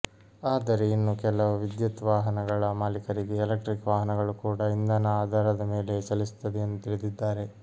ಆದರೆ ಇನ್ನು ಕೆಲವು ವಿದ್ಯುತ್ ವಾಹನಗಳ ಮಾಲೀಕರಿಗೆ ಎಲೆಕ್ಟ್ರಿಕ್ ವಾಹನಗಳು ಕೂಡಾ ಇಂಧನ ಆಧಾರದ ಮೇಲೆಯೆ ಚಲಿಸುತ್ತದೆ ಎಂದು ತಿಳಿದಿದ್ದಾರೆ